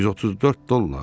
134 dollar?